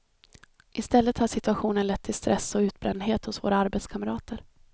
I stället har situationen lett till stress och utbrändhet hos våra arbetskamrater.